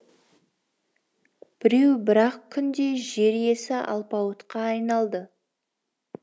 біреу бір ақ күнде жер иесі алпауытқа айналды